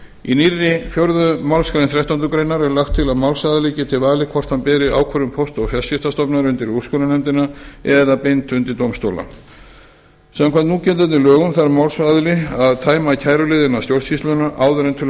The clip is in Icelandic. í nýrri fjórðu málsgreinar þrettándu grein er lagt til að málsaðili geti valið hvort hann beri ákvörðun póst og fjarskiptastofnunar undir úrskurðarnefndina eða beint undir dómstóla samkvæmt núgildandi lögum þarf málsaðili að tæma kæruleið innan stjórnsýslunnar áður en til